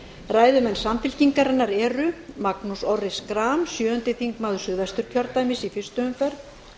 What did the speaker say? ræðumenn samfylkingarinnar eru magnús orri schram sjöundi þingmaður suðvesturkjördæmis í fyrstu umferð